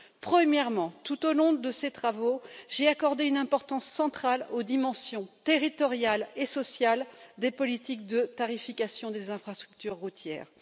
Premièrement, tout au long de ces travaux, j'ai accordé une importance centrale aux dimensions territoriale et sociale des politiques de tarification des infrastructures routières.